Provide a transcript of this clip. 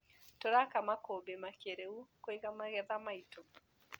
Tũraka makũmbĩ makĩrĩu kũiga magetha maitũ.